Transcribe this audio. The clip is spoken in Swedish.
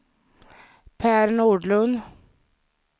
Per Nordlund